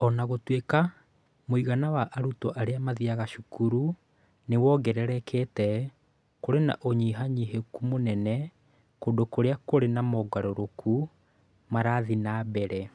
O na gũtuĩka mũigana wa arutwo arĩa mathiaga cukuru nĩ wongererekete, kũrĩ na ũnyihanyihĩku mũnene kũndũ kũrĩa kũrĩ na mogarũrũku marathiĩ na mbere.